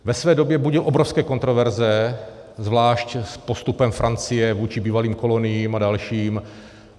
Ve své době budil obrovské kontroverze, zvlášť s postupem Francie vůči bývalých koloniím a dalším.